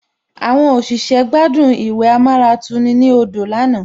Àwọn àlejò gbádùn ìwẹ̀ amáratuni ní odò lánàá